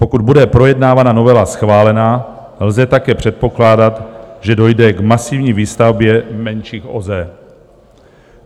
Pokud bude projednávána novela schválena, lze také předpokládat, že dojde k masivní výstavbě menších OZE.